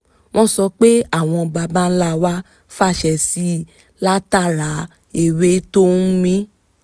wọ́n sọ pé àwọn baba ńlá wa fàṣẹ síi látara ewé tó ń mì